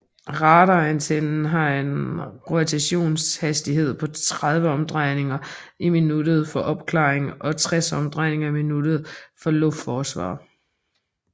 Radarantennen har en rotationshastighed på 30 omdrejninger i minuttet for opklaring og 60 omdrejninger i minuttet for luftforsvar